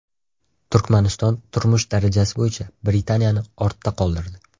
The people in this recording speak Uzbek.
Turkmaniston turmush darajasi bo‘yicha Britaniyani ortda qoldirdi.